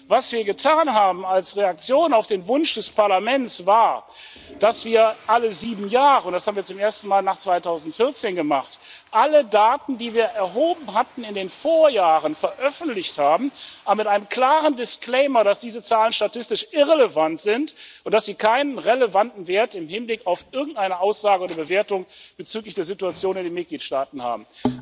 Was wir getan haben als Reaktion auf den Wunsch des Parlaments, war, dass wir alle sieben Jahre das haben wir zum ersten Mal nach 2014 gemacht alle Daten, die wir in den Vorjahren erhoben hatten, veröffentlicht haben, aber mit einem klaren Disclaimer, dass diese Zahlen statistisch irrelevant sind und dass sie keinen relevanten Wert im Hinblick auf irgendeine Aussage oder Bewertung bezüglich der Situation in den Mitgliedstaaten haben.